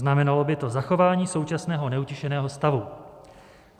Znamenalo by to zachování současného neutěšeného stavu.